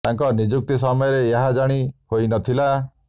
ତାଙ୍କ ନିଯୁକ୍ତି ସମୟରେ ଏହା ଜାଣି ହୋଇ ନ ଥିଲା